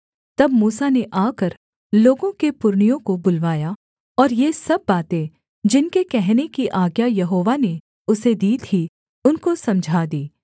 तब मूसा ने आकर लोगों के पुरनियों को बुलवाया और ये सब बातें जिनके कहने की आज्ञा यहोवा ने उसे दी थी उनको समझा दीं